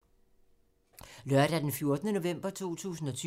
Lørdag d. 14. november 2020